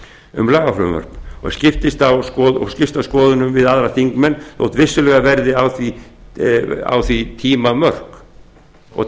um lagafrumvörp og skipst á skoðunum við aðra þingmenn þótt vissulega verði á því tímatakmarkanir